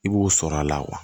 I b'o sɔrɔ a la wa